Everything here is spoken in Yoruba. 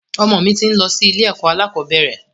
Ọmọ mi ti ń lọ sí ilé ẹ̀kọ́ alakọ̀bẹ́ẹ́rẹ̀